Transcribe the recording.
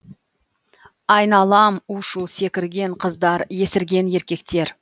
айналам у шу секірген қыздар есірген еркектер